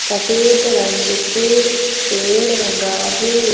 सफेद रंग से पेड़ रंगा है।